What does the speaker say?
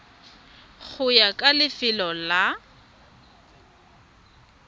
go ya ka lefelo la